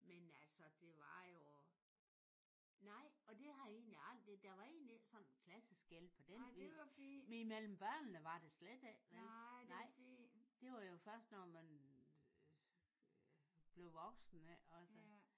Men altså det var jo nej og det har jeg egentlig aldrig der var egentlig ikke sådan klasseskel på den vis. Imellem børnene var der slet ikke. Det var jo først når man blev voksen ikke også?